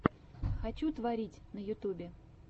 хочу творить на ютубе